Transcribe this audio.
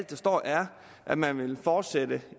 der står er at man vil fortsætte